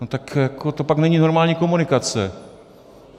No tak jako to pak není normální komunikace.